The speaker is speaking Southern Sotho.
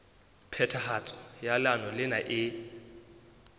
phethahatso ya leano lena e